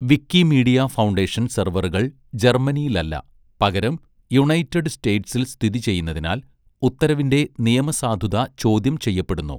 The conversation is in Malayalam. വിക്കിമീഡിയ ഫൗണ്ടേഷൻ സെർവറുകൾ ജർമ്മനിയിലല്ല, പകരം യുണൈറ്റഡ് സ്റ്റേറ്റ്സിൽ സ്ഥിതി ചെയ്യുന്നതിനാൽ, ഉത്തരവിന്റെ നിയമസാധുത ചോദ്യം ചെയ്യപ്പെടുന്നു.